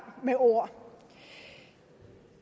med ord